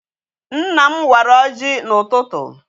Nna m wara ọjị n'ụtụtụ.